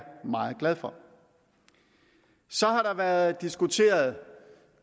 meget glad for så har der været diskuteret